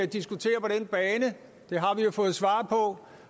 diskutere på den bane det har vi fået svar på